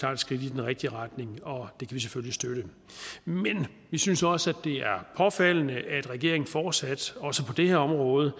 er et skridt i den rigtige retning og det vi selvfølgelig støtte men vi synes også det er påfaldende at regeringen fortsat også på det her område